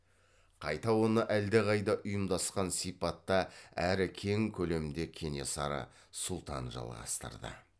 қайта оны әлдеқайда ұйымдасқан сипатта әрі кең көлемде кенесары сұлтан жалғастырды